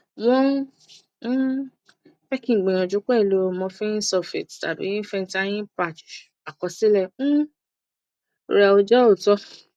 won um fe ki n gbiyanju pelu morphine sulfate tabi fentayi patch akosile um re o je ooto